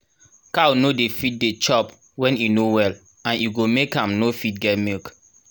cow no dey fit dey chop when e no well and e go make am no fit get milk